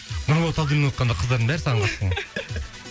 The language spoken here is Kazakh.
нұрболат абдуллин қыздардың бәрі саған ғашық болған